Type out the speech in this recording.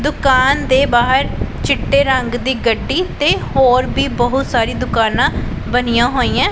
ਦੁਕਾਨ ਦੇ ਬਾਹਰ ਚਿੱਟੇ ਰੰਗ ਦੀ ਗੱਡੀ ਤੇ ਹੋਰ ਵੀ ਬਹੁਤ ਸਾਰੀ ਦੁਕਾਨਾਂ ਬਣੀਆਂ ਹੋਈਐਂ।